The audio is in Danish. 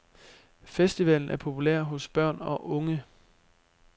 Festivalen er populær hos børn og unge.